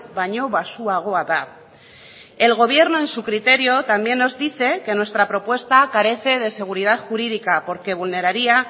baino baxuagoa da el gobierno en su criterio también nos dice que nuestra propuesta carece de seguridad jurídica porque vulneraría